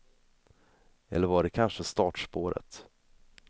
Eller var det kanske startspåret?